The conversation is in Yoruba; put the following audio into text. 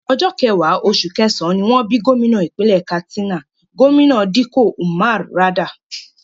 Ọjọ́ kẹwàá, oṣù kẹsàn-án, ni wọ́n bí gómìnà ìpínlẹ̀ Katsina, Gómìnà Dikko Umar Radda